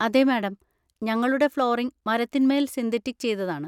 അതെ മാഡം, ഞങ്ങളുടെ ഫ്ലോറിങ് മരത്തിന്മേൽ സിന്തറ്റിക് ചെയ്തതാണ്.